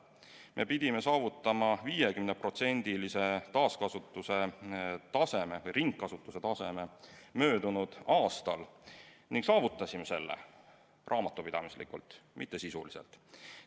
Me pidime saavutama 50%-lise ringkasutuse taseme möödunud aastal ning saavutasime selle raamatupidamislikult, mitte sisuliselt.